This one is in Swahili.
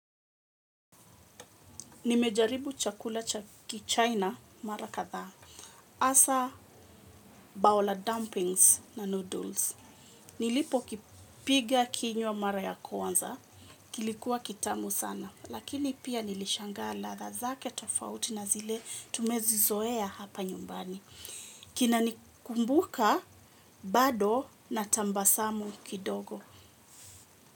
Nimejaribu chakula cha kichaina mara kathaa, asa baola dumpings na noodles. Nilipo kipiga kinywa mara ya kwanza, kilikuwa kitamu sana, lakini pia nilishangaa latha zake tofauti na zile tumezi zoea hapa nyumbani. Kina nikumbuka bado na tambasamu kidogo.